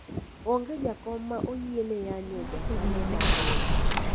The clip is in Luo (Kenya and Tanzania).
onge jakom ma oyiene yanyo jakanyo mar riwruok